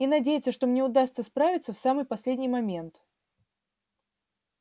и надеяться что мне удастся справиться в самый последний момент